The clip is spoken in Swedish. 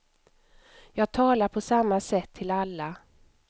Jag talar på samma sätt till alla.